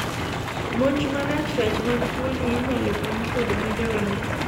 monj maracrach mag tuoni inyalo kony kod medo remo